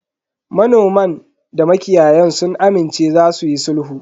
Manoman da makiyayan sun amince za suyi sulhu.